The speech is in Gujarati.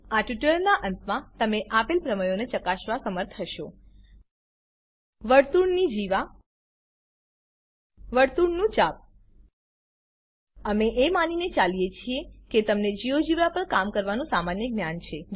આ ટ્યુટોરીયલનાં અંતમાં તમે આપેલ પ્રમેયોને ચકાસવા સમર્થ હશો વર્તુળની જીવા વર્તુળનું ચાપ અમે એ માનીને ચાલીએ છીએ કે તમને જિયોજેબ્રા પણ કામ કરવાનું સામાન્ય જ્ઞાન છે